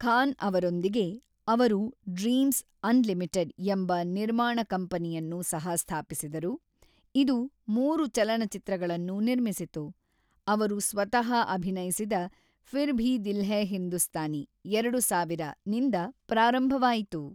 ಖಾನ್ ಅವರೊಂದಿಗೆ, ಅವರು Dreamz Unlimited ಎಂಬ ನಿರ್ಮಾಣ ಕಂಪನಿಯನ್ನು ಸಹ-ಸ್ಥಾಪಿಸಿದರು, ಇದು ಮೂರು ಚಲನಚಿತ್ರಗಳನ್ನು ನಿರ್ಮಿಸಿತು, ಅವರು ಸ್ವತಃ ಅಭಿನಯಿಸಿದ ಫಿರ್ ಭಿ ದಿಲ್ ಹೈ ಹಿಂದೂಸ್ತಾನಿ (ಎರಡು ಸಾವಿರ) ನಿಂದ ಪ್ರಾರಂಭವಾಯಿತು.